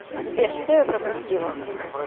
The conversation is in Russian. сбер что я пропустила